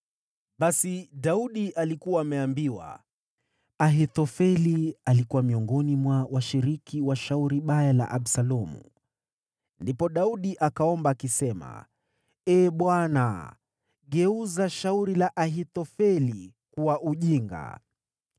Basi Daudi alikuwa ameambiwa, “Ahithofeli alikuwa miongoni mwa washiriki wa shauri baya la Absalomu.” Ndipo Daudi akaomba, akisema, “Ee Bwana , geuza shauri la Ahithofeli kuwa ujinga.”